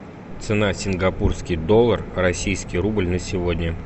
цена сингапурский доллар российский рубль на сегодня